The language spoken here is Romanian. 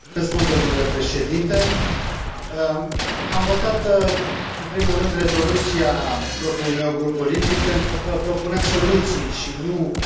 Am votat în primul rând rezoluția propriului meu grup politic, pentru că propunea soluții și nu stigmatizarea unei opțiuni politice.